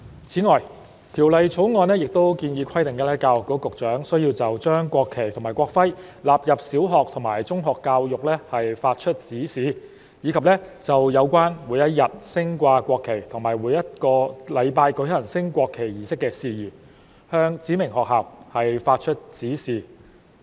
此外，《條例草案》亦建議，規定教育局局長須就將國旗及國徽納入小學及中學教育發出指示；以及就有關每日升掛國旗及每周舉行升國旗儀式的事宜，向指明學校發出指示。